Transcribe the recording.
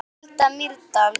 Hulda Mýrdal.